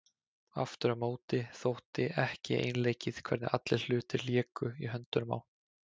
Aftur á móti þótti ekki einleikið hvernig allir hlutir léku í höndunum á